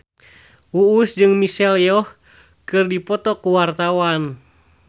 Uus jeung Michelle Yeoh keur dipoto ku wartawan